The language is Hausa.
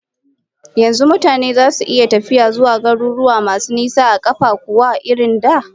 Yanzu mutane zasu iya tafiya zuwa garuruwa masu nisa a kafar kuwa irin da?